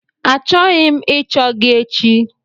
Achọghị m ịchọ gị echi!